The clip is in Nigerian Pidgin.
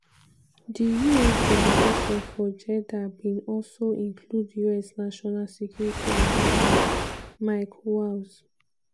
di us delegation for jeddah bin also include us national security adviser mike waltz.